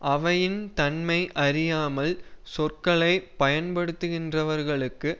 அவையின் தன்மை அறியாமல் சொற்களை பயன்படுத்துகின்றவர்களுக்கு